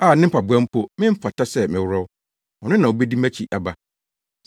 a ne mpaboa mpo memfata sɛ meworɔw; ɔno na obedi mʼakyi aba.”